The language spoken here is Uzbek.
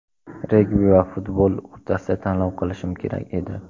Regbi va futbol o‘rtasida tanlov qilishim kerak edi.